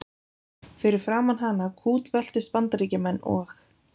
Fyrir framan hana kútveltust Bandaríkjamenn og